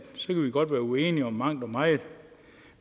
godt være uenige om mangt og meget